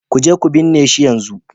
Ku je ku binne shi yanzu!